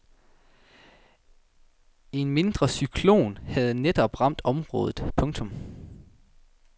En mindre cyklon havde netop ramt området. punktum